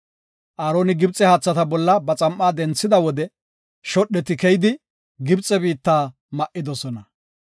Aaroni Gibxe haathata bolla ba xam7aa denthida wode shodheti keyidi, Gibxe biitta ma7idosona.